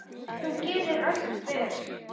Þú gerðir allt vel.